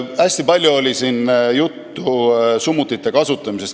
Hästi palju oli siin juttu summutite kasutamisest.